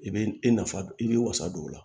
I bɛ i nafa i b'i wasa don o la